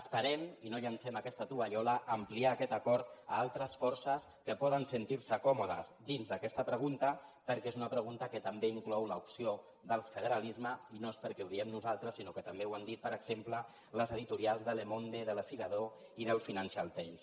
esperem i no llencem aquesta tovallola ampliar aquest acord a altres forces que poden sentir se còmodes dins d’aquesta pregunta perquè és una pregunta que també inclou l’opció del federalisme i no és perquè ho diguem nosaltres sinó que també ho han dit per exemple els editorials de le mondetimes